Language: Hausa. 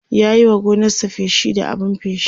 ya Yi wa gonarsa feshi da abun feshi